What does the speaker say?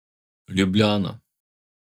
Ljubljana.